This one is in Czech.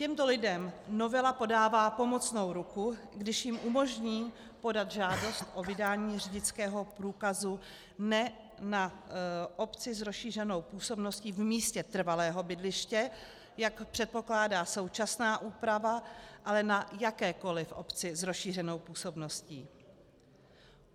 Těmto lidem novela podává pomocnou ruku, když jim umožní podat žádost o vydání řidičského průkazu ne na obci s rozšířenou působností v místě trvalého bydliště, jak předpokládá současná úprava, ale na jakékoli obci s rozšířenou působností.